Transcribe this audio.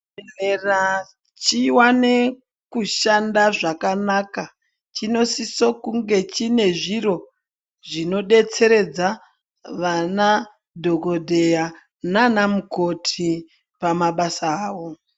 Chibhedhlera chiwane kushande zvakanaka chinosisa kunge chine zviro zvinodetseredza vana dhokodheya naana mukhoti pamabasa avo.